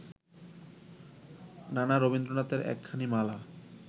নানা রবীন্দ্রনাথের একখানি মালা